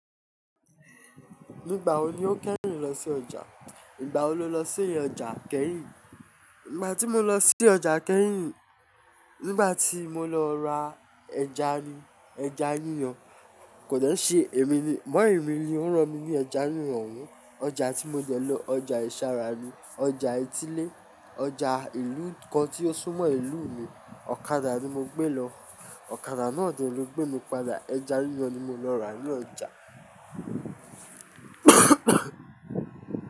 Nígbà wo ni o keyin lọ sí ọjà? Nígbà wo lo lọ sí ọjà kẹ́hìn? Nígbà tí mo lọ sí ọjà kẹ́hìn, nígbà tí mo lọ ra ẹja ni, ẹja yíyan kò de n ṣe èmi ni, mommy mi ni ó rán mi ní ẹja yíyan oun. Ọjà tí mo dẹ lọ ọjà ìsara ni, ọjà etílé, ọjà ìlú kan tí ó sún mọ́ ìlú mi. Ọ̀kadà ni mo gbé lọ, ọ̀kadà náà de lọ gbé mi padà. Ẹja yíyan ni mo lọ rà ní ọjà.